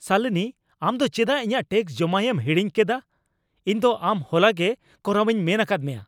ᱥᱟᱞᱤᱱᱤ, ᱟᱢ ᱫᱚ ᱪᱮᱫᱟᱜ ᱤᱧᱟᱜ ᱴᱮᱠᱥ ᱡᱚᱢᱟᱭᱮᱢ ᱦᱟᱹᱲᱤᱧ ᱠᱮᱫᱟ ? ᱤᱧ ᱫᱚ ᱟᱢ ᱦᱚᱞᱟᱜᱮ ᱠᱚᱨᱟᱣᱤᱧ ᱢᱮᱱ ᱟᱠᱟᱫ ᱢᱮᱭᱟ ᱾